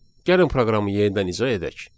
Gəlin proqramı yenidən icra edək.